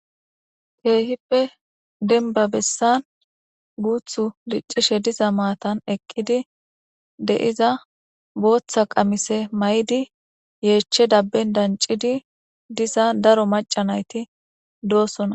Kehipe demibba bessani diccishe diza matani eqidi de'iza batha qamise mayidi yeche dabbeni daniccidi eqidda darro macca nayiti eqi dossona.